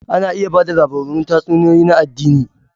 Ana iya ba da labaran tatsuniyoyi na addini.